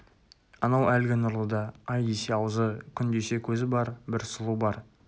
анау әлгі нұрлыда ай десе аузы күн десе көзі бар бір сұлу бар